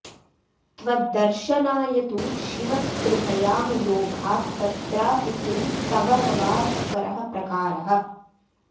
त्वद्दर्शनाय तु शिव स्पृहयामि लोभात् तत्रापि किं तव न वा सुकरः प्रकारः